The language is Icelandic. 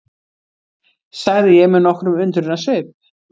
sagði ég með nokkrum undrunarsvip.